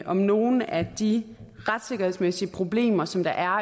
om nogle af de retssikkerhedsmæssige problemer som der er